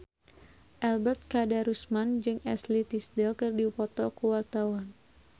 Ebet Kadarusman jeung Ashley Tisdale keur dipoto ku wartawan